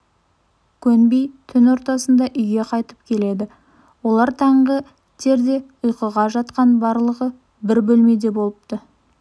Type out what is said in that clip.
көнбей түн ортасында үйге қайтып келеді олар таңғы терде ұйқыға жатқан барлығы бір бөлмеде болыпты